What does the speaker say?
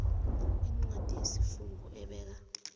incwadi yesifungo ebeka